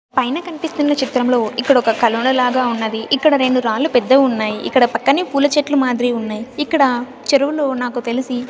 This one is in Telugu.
పైన కన్పిస్తున్న చిత్రంలో ఇక్కడొక కలోనా లాగా ఉన్నది ఇక్కడ రెండు రాళ్లు పెద్దవి ఉన్నాయి ఇక్కడ పక్కనే పూల చెట్లు మాదిరి ఉన్నాయి ఇక్కడ చెరువులో నాకు తెలిసి--